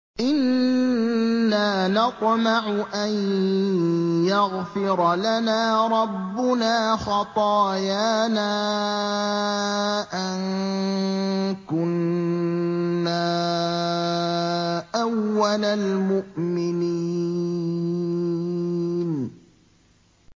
إِنَّا نَطْمَعُ أَن يَغْفِرَ لَنَا رَبُّنَا خَطَايَانَا أَن كُنَّا أَوَّلَ الْمُؤْمِنِينَ